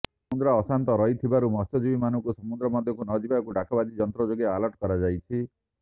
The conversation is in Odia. ସମୁଦ୍ର ଅଶାନ୍ତ ରହୁଥିବାରୁ ମତ୍ସ୍ୟଜୀବୀଙ୍କୁ ସମୁଦ୍ର ମଧ୍ୟକୁ ନ ଯିବାକୁ ଡାକବାଜି ଯନ୍ତ୍ର ଯୋଗେ ଆଲର୍ଟ କରାଯାଇଛି